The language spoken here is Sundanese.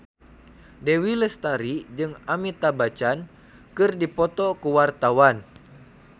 Dewi Lestari jeung Amitabh Bachchan keur dipoto ku wartawan